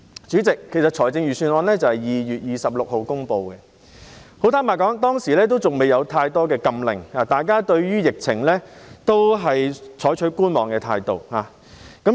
主席，預算案是在2月26日公布，坦白說，當時還未有很多禁令，大家對於疫情都採取觀望態度。